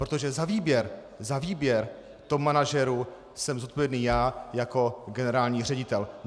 Protože za výběr, za výběr top manažerů, jsem zodpovědný já jako generální ředitel.